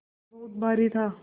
थैला बहुत भारी था